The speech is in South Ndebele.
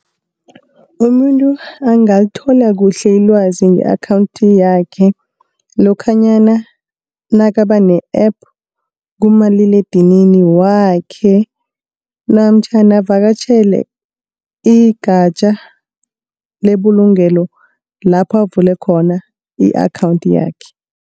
Umuntu angalithola kuhle ilwazi nge-akhawunthi yakhe, lokhanyana nakaba ne-app kumaliledinini wakhe namtjhana avakatjhele igatja lebulungelo lapho avule khona i-akhawunthi yakhe.